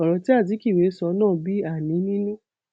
ọrọ tí azikiwe sọ náà bí àní nínú